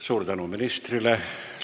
Suur tänu ministrile!